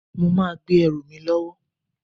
Mo máa gbé ẹrù mi lọ́wọ́